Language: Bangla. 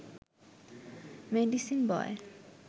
মেডিসিন বয়